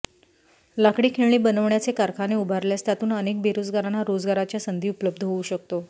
लाकडी खेळणी बनवण्याचे कारखाने उभारल्यास त्यातून अनेक बेरोजगारांना रोजगाराच्या संधी उपलब्ध होऊ शकतो